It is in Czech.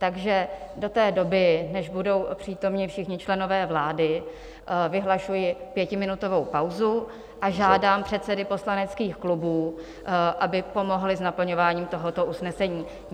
Takže do té doby, než budou přítomni všichni členové vlády, vyhlašuji pětiminutovou pauzu a žádám předsedy poslaneckých klubů, aby pomohli s naplňováním tohoto usnesení.